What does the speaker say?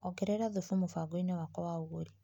Ongerera thubu mũbango-inĩ wakwa wa ũgũri.